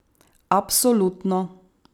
Absolutno.